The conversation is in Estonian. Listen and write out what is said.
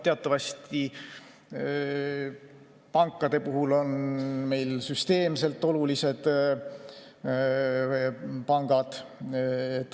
Teatavasti on pankade puhul meil süsteemselt olulised pangad.